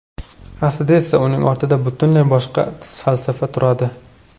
Aslida esa uning ortida butunlay boshqa falsafa turadi.